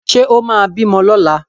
Ṣé ó máa bímọ lọ́la?